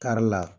Kari la